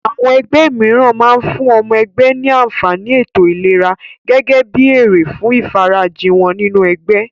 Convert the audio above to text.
Àwọn ẹgbẹ́ mìíràn máa fún ọmọ ẹgbẹ́ ní àǹfàní ètò ìlera gẹ́gẹ́ bí èrè fún ìfarajì wọ́n nínú ẹgbẹ́.